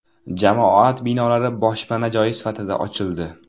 Jamoat binolari boshpana joyi sifatida ochildi.